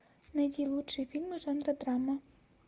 найди лучшие фильмы жанра драма